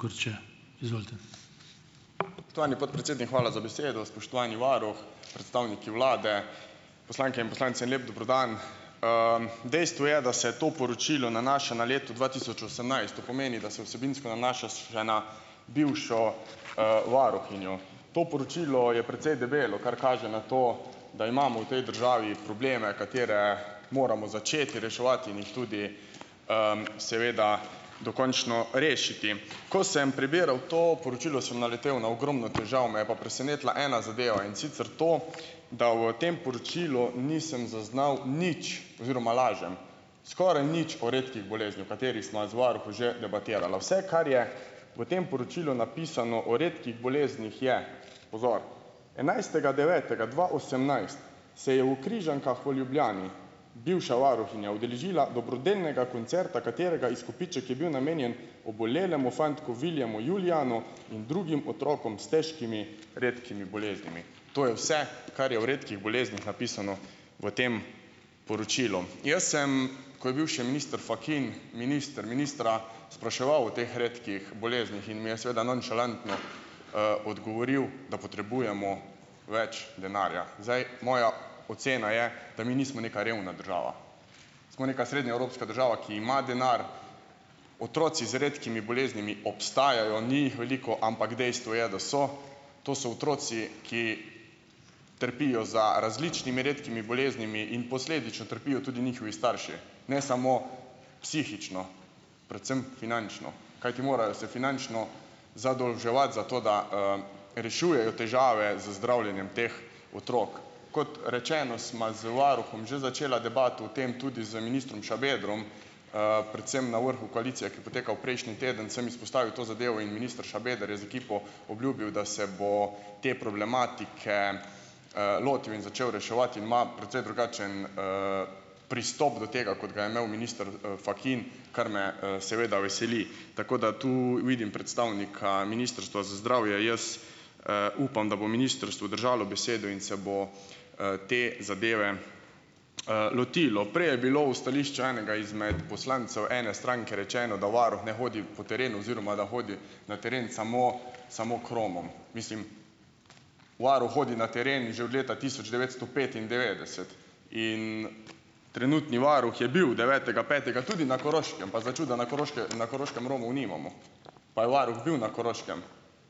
Spoštovani podpredsednik, hvala za besedo! Spoštovani varuh, predstavniki vlade, poslanke in poslanci! En lep dober dan! Dejstvo je, da se to poročilo nanaša na leto dva tisoč osemnajst, to pomeni, da se vsebinsko nanaša še na bivšo, varuhinjo. To poročilo je precej debelo, kar kaže na to, da imamo v tej državi probleme, katere moramo začeti reševati in jih tudi, seveda dokončno rešiti. Ko sem prebiral to poročilo, sem naletel na ogromno težav, me je pa presenetila ena zadeva. In sicer to, da v tem poročilu nisem zaznal nič oziroma, lažem, skoraj nič o redkih boleznih, o katerih sva z varuhom že debatirala. Vse, kar je v tem poročilu napisano o redkih boleznih, je, pozor, enajstega devetega dva osemnajst se je v Križankah v Ljubljani bivša varuhinja udeležila dobrodelnega koncerta, katerega izkupiček je bil namenjen obolelemu fantku Viljemu Julijanu in drugim otrokom s težkimi redkimi boleznimi. To je vse, kar je o redkih boleznih napisano v tem poročilu. Jaz sem, ko je bil še minister Fakin minister, ministra spraševal o teh redkih boleznih in mi je seveda nonšalantno, odgovoril, da potrebujemo več denarja. Zdaj moja ocena je, da mi nismo neka revna država, smo neka srednjeevropska država, ki ima denar. Otroci z redkimi boleznimi obstajajo, ni jih veliko, ampak dejstvo je, da so. To so otroci, ki trpijo za različnimi redkimi boleznimi, in posledično trpijo tudi njihovi starši, ne samo psihično, predvsem finančno, kajti morajo se finančno zadolževati za to, da, rešujejo težave z zdravljenjem teh otrok. Kot rečeno, sva z varuhom že začela debato o tem tudi z ministrom Šabedrom, predvsem na vrhu koalicije, ki je potekal prejšnji teden, sem izpostavil to zadevo in minister Šabeder je z ekipo obljubil, da se bomo te problematike, lotil in začel reševati in ima precej drugačen, pristop do tega, kot ga je imel minister, Fakin, kar me, seveda veseli. Tako da tu vidim predstavnika Ministrstva za zdravje, jaz, upam, da bo ministrstvo držalo besedo in se bo, te zadeve, lotilo. Prej je bilo v stališču enega izmed poslancev ene stranke rečeno, da varuh ne hodi po terenu oziroma da hodi na teren samo samo kromom. Mislim, varuh hodi na teren že od leta tisoč devetsto petindevetdeset in trenutni varuh je bil devetega petega tudi na Koroškem pa začuda na na Koroškem Romov nimamo, pa je varuh bil na Koroškem,